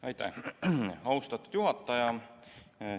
Aitäh, austatud juhataja!